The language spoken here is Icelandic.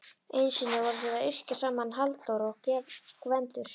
Einu sinni voru þeir að yrkja saman Halldór og Gvendur.